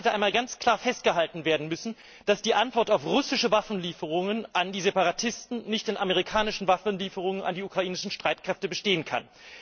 Ich meine, es hätte einmal ganz klar festgehalten werden müssen, dass die Antwort auf russische Waffenlieferungen an die Separatisten nicht in amerikanischen Waffenlieferungen an die ukrainischen Streitkräfte bestehen kann.